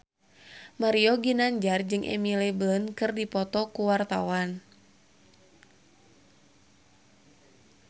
Mario Ginanjar jeung Emily Blunt keur dipoto ku wartawan